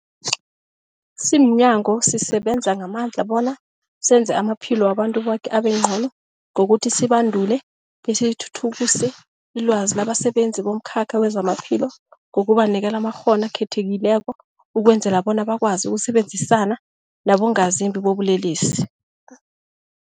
Simnyango, sisebenza ngamandla bona senze amaphilo wabantu boke abengcono ngokuthi sibandule besithuthukise ilwazi labasebenzi bomkhakha wezamaphilo ngokubanikela amakghono akhethekileko ukwenzela bona bakwazi ukusebenzisana nabongazimbi bobulelesi.